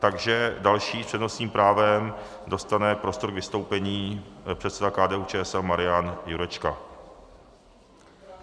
Takže další s přednostním právem dostane prostor k vystoupení předseda KDU-ČSL Marian Jurečka.